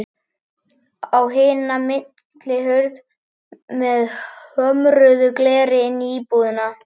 Á hina millihurð með hömruðu gleri inn í íbúðina.